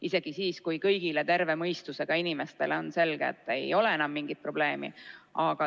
Isegi siis, kui kõigile terve mõistusega inimestele on selge, et ei ole enam mingit probleemi.